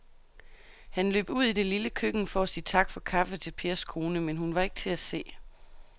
Han løb ud i det lille køkken for at sige tak for kaffe til Pers kone, men hun var ikke til at se.